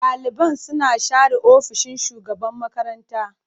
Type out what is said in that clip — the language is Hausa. Ɗaliban suna share ofishin shugaban makaranta.